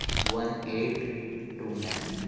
one eight two nine